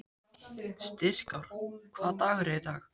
Styrkár, hvaða dagur er í dag?